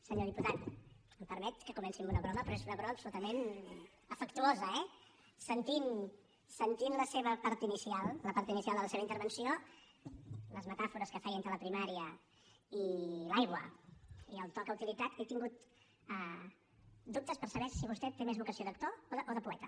senyor diputat em permet que comenci amb una broma però és una broma absolutament afectuosa eh sentint la seva part inicial la part inicial de la seva intervenció les metàfores que feia entre la primària i l’aigua i el to que ha utilitzat he tingut dubtes per saber si vostè té més vocació d’actor o de poeta